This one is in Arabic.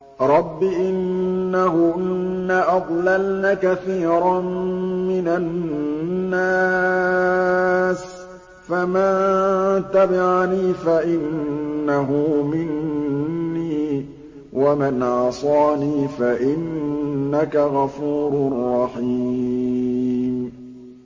رَبِّ إِنَّهُنَّ أَضْلَلْنَ كَثِيرًا مِّنَ النَّاسِ ۖ فَمَن تَبِعَنِي فَإِنَّهُ مِنِّي ۖ وَمَنْ عَصَانِي فَإِنَّكَ غَفُورٌ رَّحِيمٌ